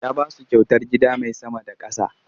Ya ba su kyautar gida mai sama da ƙasa.